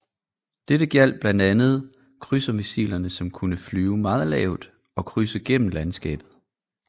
Dette gjaldt blandt andet krydsermissilerne som kunne flyve meget lavt og krydse gennem landskabet